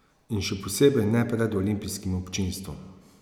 In še posebej ne pred olimpijskim občinstvom.